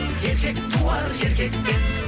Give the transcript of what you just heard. еркек туар еркектен